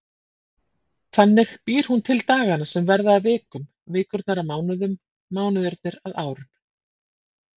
Þannig býr hún til dagana sem verða að vikum, vikurnar að mánuðum, mánuðirnir að árum.